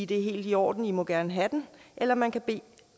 det er helt i orden i må gerne have den eller man kan bede